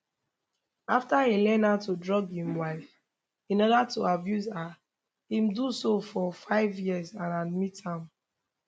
after e learn how to drug im wife in oda to abuse her im do so for five years and admit am